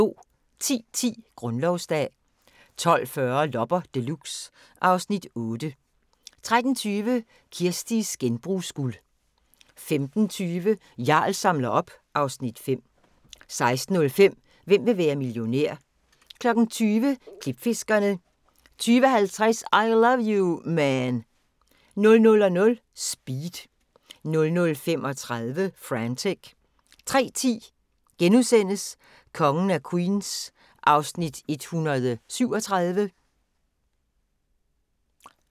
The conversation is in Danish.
10:10: Grundlovsdag 12:40: Loppe Deluxe (Afs. 8) 13:20: Kirsties genbrugsguld 15:20: Jarl samler op (Afs. 5) 16:05: Hvem vil være millionær? 20:00: Klipfiskerne 20:50: I Love You, Man 00:00: Speed 00:35: Frantic 03:10: Kongen af Queens (137:216)*